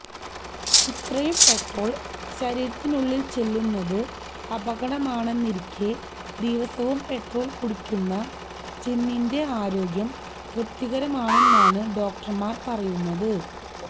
ഇത്രയും പെട്രോൾ ശരീരത്തിനുള്ളിൽ ചെല്ലുന്നത് അപകടമാണെന്നിരിക്കെ ദിവസവും പെട്രോൾ കുടിക്കുന്ന ചെന്നിന്റെ ആരോഗ്യം തൃപ്തികരമാണെന്നാണ് ഡോക്ടർമാർ പറയുന്നത്